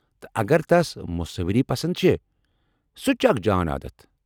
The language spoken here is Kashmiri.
تہٕ اگر تَس مُصوری پسنٛد چھےٚ ،سُہ تہِ چُھ اکھ جان عادتھ ۔